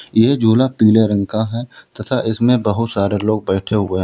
यह झूला पीले रंग का है तथा इसमें बहुत सारे लोग बैठे हुए हैं।